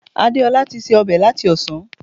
Adeola ti se ọbẹ̀ láti ọ̀sán